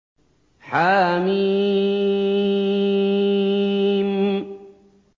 حم